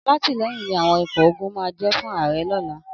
Alátìlẹyìn ni àwọn ikọ̀ ogun máa jẹ́ fún ààrẹ ọ̀la.